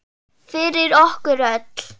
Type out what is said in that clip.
Fyrir okkur öll.